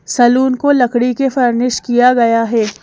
Salon को लकड़ी के फर्निश किया गया है।